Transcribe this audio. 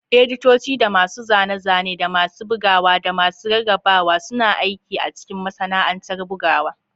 Editoci da masu zane-zane, da masu bugawa da masu rarrabawa, suna aiki a cikin masana'antar bugawa.